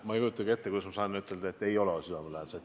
Ma ei kujutagi ette, kuidas ma saaksin ütelda, et need ei ole südamelähedased.